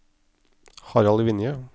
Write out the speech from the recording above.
Harald Vinje